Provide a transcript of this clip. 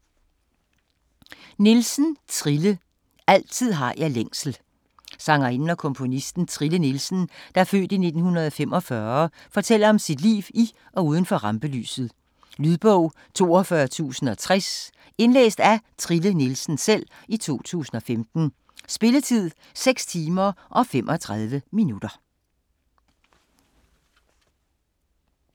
Nielsen, Trille: Altid har jeg længsel Sangerinden og komponisten Trille Nielsen (f. 1945) fortæller om sit liv i og uden for rampelyset. Lydbog 42060 Indlæst af Trille Nielsen, 2015. Spilletid: 6 timer, 35 minutter.